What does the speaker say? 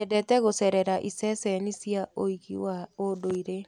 Nyendete gũcerera iceceni cia ũigi wa ũndũire.